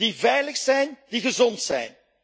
die veilig zijn, die gezond zijn.